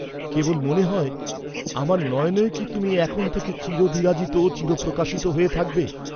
কেবল মনে নয়, আমার নয়নেও কি তুমি এখন থেকে চিরবিরাজিত, চিরপ্রকাশিত হয়ে থাকবে?